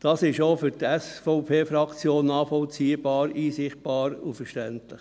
Das ist auch für die SVP-Fraktion nachvollziehbar, einsichtig und verständlich.